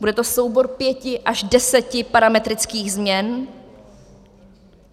Bude to soubor pěti až deseti parametrických změn.